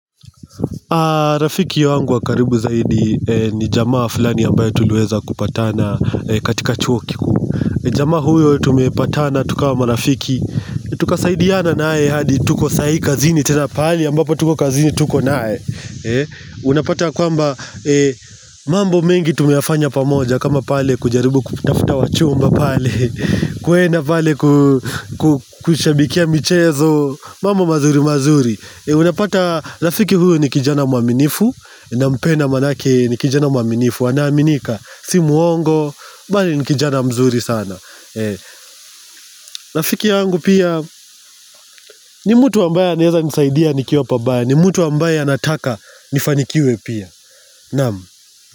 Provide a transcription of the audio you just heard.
Rafiki wangu wa karibu zaidi ni jamaa fulani ambaye tulueza kupatana katika chuo kikuu jamaa huyo tumepatana tukawa marafiki Tukasaidiana nae hadi tuko sahi kazini tena pahali ambapo tuko kazini tuko naye Unapata kwamba mambo mengi tumeyafanya pamoja kama pale kujaribu kutafuta wachumba pale kwenda pale kushabikia michezo mambo mazuri mazuri Unapata, rafiki huyu ni kijana mwaminifu Nampedna manake ni kijana mwaminifu anaaminika, si muongo bali ni kijana mzuri sana rafiki yangu pia ni mtu ambaye anaeza nisaidia nikiwa pabaya ni mtu ambaye anataka nifanikiwe pia Naam.